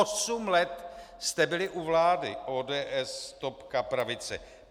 Osm let jste byli u vlády, ODS, topka, pravice.